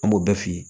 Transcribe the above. An b'o bɛɛ f'i ye